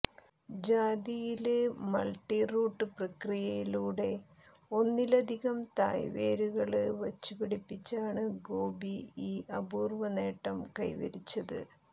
ജാതിയില് multi root പ്രക്രിയ യിലൂടെ ഒന്നിലധികം തായ്വേരുകള് വച്ചു പിടിപ്പിച്ചാണ് ഗോപി ഈ അപൂര്വ്വ നേട്ടം കൈവരിച്ചത്